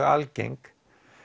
algeng